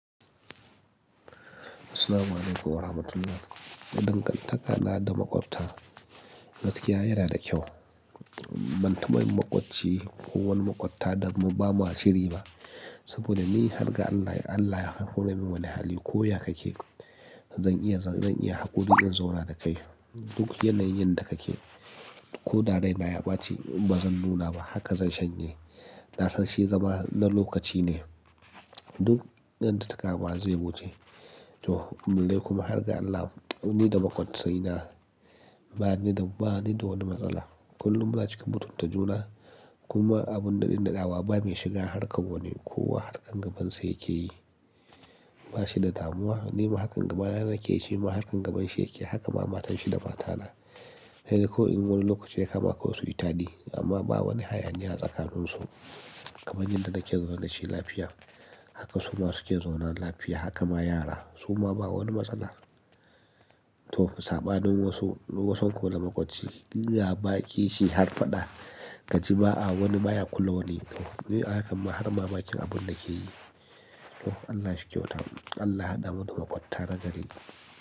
Assalamu alaikum wa rahmatullahi. Na danganta ka na da maƙwabta, gaskiya yana da kyau. Ban taɓa yin maƙwabci ko wani maƙwabta damu ba mashiri ba. Saboda ni har ga Allah, Allah ya kawo min wani hali ko ya ka ke, zan iya, zan iya haƙuri in zauna da kai. Duk yanayin yanda ka ke, toko da raina ya ɓaci ba zan nuna ba haka zan shanye. Na sanshi zama na lokaci ne, duk yanda takama zai wuce. To, balle kuma har ga Allah ni da maƙwabci na ba ni da, ba ni da wani matsala. Kullum muna cika mutan ta juna kuma abun ɗaɗin ɗaɗawa ba mai shiga harƙa wani. Ko wa harƙan gabansa yake yi, ba shi da damuwa. Ni ma harƙan gabana nake yi, shi ma harƙan gabanshi yake yi. Haka ma matan shi da matana. Sai dai ko wani lokaci ya kama ko wasu itani amma ba wani hayani ya tsakanin su. Kamar yadda nake zaune dashi lafiya, haka su ma suke zaune lafiya. Haka ma yara, su ma ba wani matsala. To, saɓanin wasu, duk kusan ku da maƙwabci, ɗinga baki shi har faɗa, ka ji ma wani baya kulawa ni. To, ni ahakan ma har mamakin abun na ke yi. To, Allah shi kyauta. Allah ya haɗa mu da maƙwabta na gari.